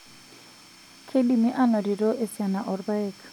Keidimi anotito esiana orpaek.